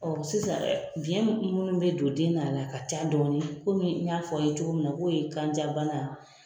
sisan biyɛn minnu bɛ don den na a la, a ka ca dɔɔni komi n y'a fɔ a ye cogo min na k'o ye kanjabana,